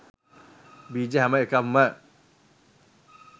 බීජ හැම එකක්ම